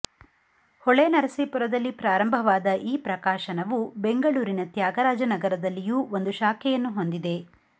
ಹೊಳೆನರಸಿಪುರದಲ್ಲಿ ಪ್ರಾರಂಭವಾದ ಈ ಪ್ರಕಾಶನವು ಬೆಂಗಳೂರಿನ ತ್ಯಾಗರಾಜನಗರದಲ್ಲಿಯೂ ಒಂದು ಶಾಖೆಯನ್ನು ಹೊಂದಿದೆ